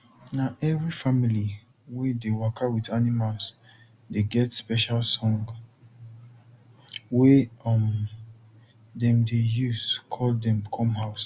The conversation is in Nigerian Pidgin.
na every family wey dey waka with animals dey get special song wey um dem dey use call dem come house